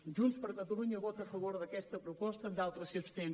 junts per catalunya vota a favor d’aquesta proposta i en d’altres s’hi abstén